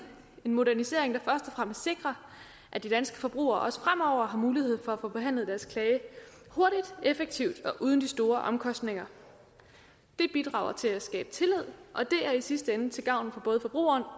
en modernisering og fremmest sikrer at de danske forbrugere også fremover har mulighed for at få behandlet deres klage hurtigt effektivt og uden de store omkostninger det bidrager til at skabe tillid og det er i sidste ende til gavn for både forbrugerne